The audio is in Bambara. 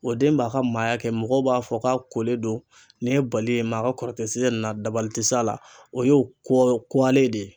O den b'a ka maaya kɛ mɔgɔw b'a fɔ k'a kolen don nin ye bali ye maa ka kɔrɔkɛ ti se nin na dabali ti s'a la, o ye kuwalen ye.